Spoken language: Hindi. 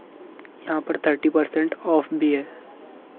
यहां पर थर्टी पर्सेंट ऑफ भी है।